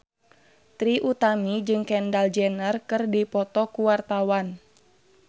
Trie Utami jeung Kendall Jenner keur dipoto ku wartawan